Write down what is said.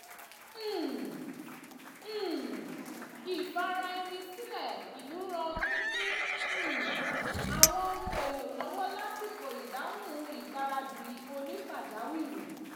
um um ìfira-ẹni-sílẹ̀ ìlú ran pínpín um àwọn ohun èlò lọ́wọ́ lásìkò ìdáhùn ìgbaradì onípàjáwìrì